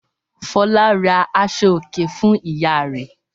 Fọlá ra aṣọòkè fún ìyá rẹ̀.